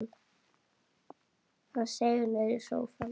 Hann seig niður í sófann.